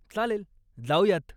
चालेल, जाऊयात.